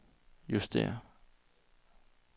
justér